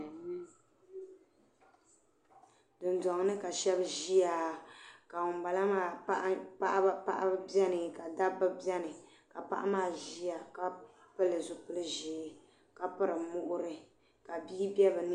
Dundoŋni ka sheba ʒia ka baɣaba biɛni ka dabba biɛni paɣa maa ʒia ka pili zipil'ʒee ka piri muɣuri ka bia be bɛni.